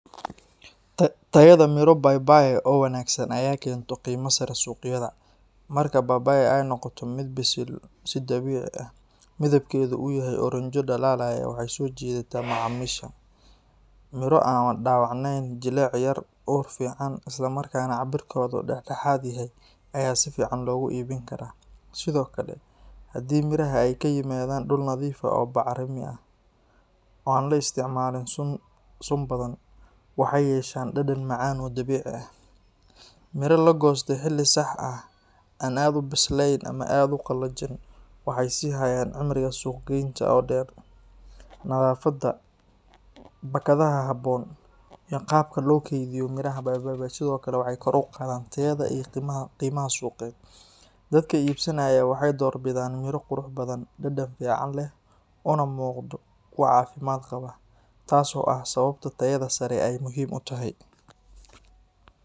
Tayada miro papaya oo wanaagsan ayaa keenta qiimo sare suuqyada. Marka papaya ay noqoto mid bisil si dabiici ah, midabkeedu uu yahay oranjo dhalaalaya, way soo jiidataa macaamiisha. Miro aan dhaawacnayn, jileec yar leh, ur fiican leh, isla markaana cabbirkeedu dhexdhexaad yahay ayaa si fiican loogu iibin karaa. Sidoo kale, haddii miraha ay ka yimaadaan dhul nadiif ah oo bacrimi ah, oo aan la isticmaalin sunta badan, waxay yeeshaan dhadhan macaan oo dabiici ah. Miro la goostay xilli sax ah, aan aad u bislayn ama aad u qallajin, waxay sii hayaan cimriga suuqgaynta oo dheer. Nadaafadda, baakadaha habboon, iyo qaabka loo kaydiyo miraha papaya sidoo kale waxay kor u qaadaan tayada iyo qiimaha suuqeed. Dadka iibsanaya waxay doorbidaan miro qurux badan, dhadhan fiican leh, una muuqda kuwo caafimaad qaba, taas oo ah sababta tayada sare ay muhiim u tahay.